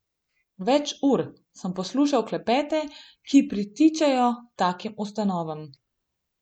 Več ur sem poslušal klepete, ki pritičejo takim ustanovam.